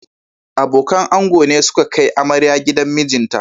Abokan ango ne suke kai amarya gidan mijinta